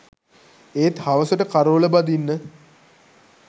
ඒත් හවසට කරෝල බදින්න